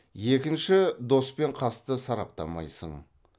екінші дос пен қасты сараптамайсың